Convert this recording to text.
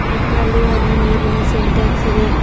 ಮತ್ತು ಅಲ್ಲಿ ಒಂದು ನೀರಿನ ಸಿಂಟೆಕ್ಸ್ ಇದೆ.